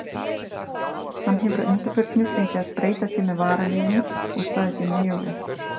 Hann hefur að undanförnu fengið að spreyta sig með varaliðinu og staðið sig mjög vel.